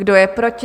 Kdo je proti?